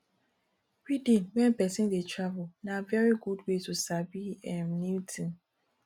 reading when person dey travel na very good way to sabi um new thing